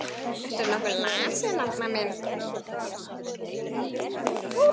Ertu nokkuð lasinn, Arnar minn?